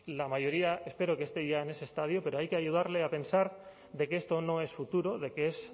la mayoría espero que esté ya en ese estadio pero hay que ayudarle a pensar de que esto no es futuro de que es